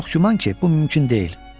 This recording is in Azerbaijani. Ancaq çox güman ki, bu mümkün deyil.